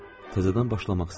təzədən başlamaq istədim.